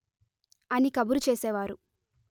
అని కబురు చేసేవారు